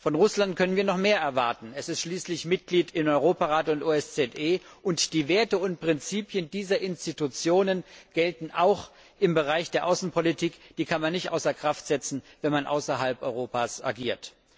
Von Russland können wir noch mehr erwarten, es ist schließlich Mitglied im Europarat und in der OSZE, und die Werte und Prinzipien dieser Institutionen gelten auch im Bereich der Außenpolitik, die kann man nicht außer Kraft setzen, wenn man außerhalb Europas agiert.